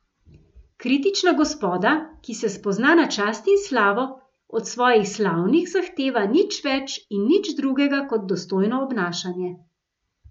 Kritična gospoda, ki se spozna na čast in slavo, od svojih slavnih zahteva nič več in nič drugega kot dostojno obnašanje.